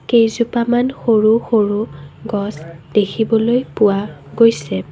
কেইজোপামান সৰু সৰু গছ দেখিবলৈ পোৱা গৈছে।